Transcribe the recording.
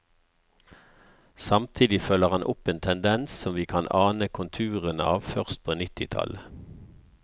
Samtidig følger han opp en tendens som vi kan ane konturene av først på nittitallet.